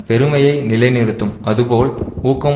பெருமையை நிலைநிறுத்தும் அதுபோல் ஊக்கம்